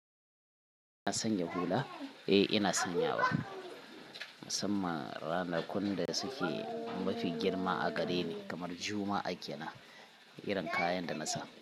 Na sanya hula? Eh ina sanyawa. Musamman ranakun da suke mafi girma a gareni kamar Juma'a akina irin kayan da na sa.